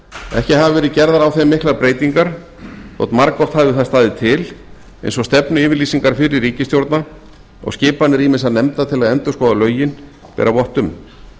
ekki hafa verð gerðar á þeim miklar breytingar þótt margoft hafi það staðið til eins og stefnuyfirlýsingar fyrri ríkisstjórna og skipanir ýmissa nefnda til að endurskoða lögin bera vott um